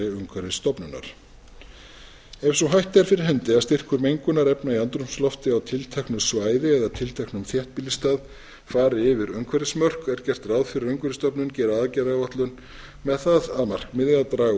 umhverfisstofnunar ef sú hætta er fyrir hendi að styrkur mengunarefna í andrúmslofti á tilteknu svæði eða tilteknum þéttbýlisstað fari yfir umhverfismörk er gert ráð fyrir að umhverfisstofnun geri aðgerðaáætlun með það að markmiði að draga úr